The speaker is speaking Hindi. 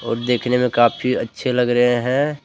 और देखने में काफी अच्छे लग रहे हैं।